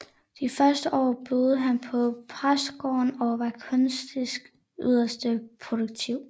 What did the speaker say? De første år boede han på præstegården og var kunstnerisk yderst produktiv